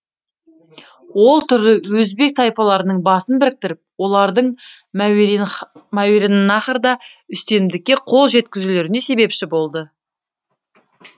ол түрлі өзбек тайпаларының басын біріктіріп олардың мәуереннаһрда үстемдікке қол жеткізулеріне себепші болды